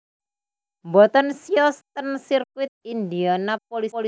Mboten siyos ten sirkuit Indianapolis